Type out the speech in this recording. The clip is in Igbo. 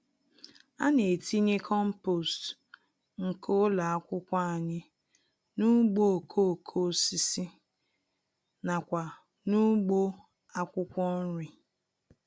Ana-etinye kompost nke ụlọ akwụkwọ anyị n'ugbo okoko-osisi nakwa n'ugbo akwụkwọ nri.